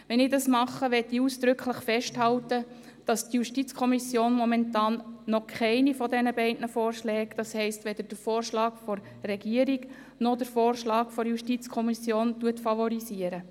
Wenn ich das tue, möchte ich ausdrücklich festhalten, dass die JuKo momentan noch keinen der beiden Vorschläge, das heisst, weder den Vorschlag der Regierung noch den Vorschlag der FiKo, favorisiert.